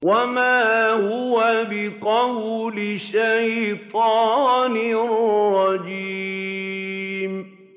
وَمَا هُوَ بِقَوْلِ شَيْطَانٍ رَّجِيمٍ